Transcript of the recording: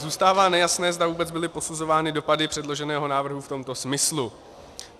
Zůstává nejasné, zda vůbec byly posuzovány dopady předloženého návrhu v tomto smyslu.